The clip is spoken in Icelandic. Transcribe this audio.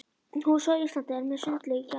húsið á Íslandi sem er með sundlaug í garðinum.